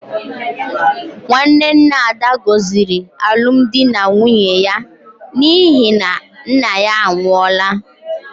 Nwanne nna Ada gọziri alụmdi na nwunye ya n’ihi na nna ya anwụọla.